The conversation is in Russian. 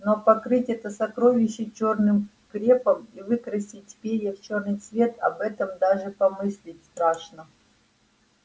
но покрыть это сокровище чёрным крепом и выкрасить перья в чёрный цвет об этом даже помыслить страшно